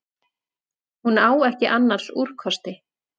Hún á ekki annars úrkosti.